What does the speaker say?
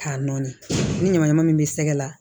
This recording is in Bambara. K'a nɔɔni ni ɲamanɲaman min bɛ sɛgɛ la